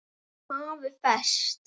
AFI Fest